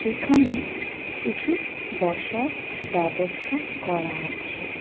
এখানে কিছু বসার ব্যবস্থা করা আছে।